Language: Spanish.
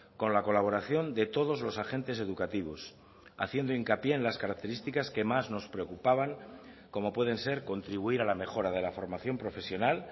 con la colaboración de todos los agentes educativos haciendo hincapié en las características que más nos preocupaban como pueden ser contribuir a la mejora de la formación profesional